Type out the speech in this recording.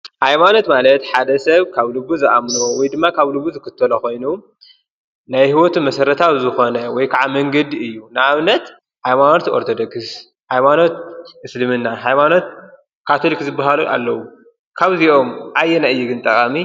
ሃይማኖት ማለት ሓደ ሰብ ካብ ልቡ ዝኣምኖ ወይ ድማ ካብ ልቡ ዝክተሎ ኾይኑ ናይ ሕይወት መሠረታዊ ዝኾነ ወይ ከዓ መንገዲ እዩ፡፡ ንኣብነት ሃይማኖት ኦርቶዶክስ፣ ሃይማኖት እስልምና ፣ሃይማኖት ካቶሊክ ዝብሃሉ ኣለዉ፡፡ ካብዚኦም ኣየይ እዩ ግን ጠቓሚ?